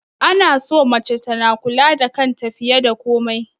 Ana so mace tana kula da kanta fiye da komai